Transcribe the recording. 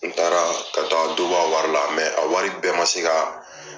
N taara ka taa dɔ bɔ a wari la, a wari bɛɛ ma se ka